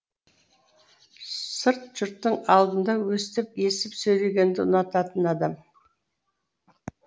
сырт жұрттың алдында өстіп есіп сөйлегенді ұнататын адам